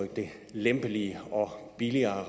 lempeligere og billigere at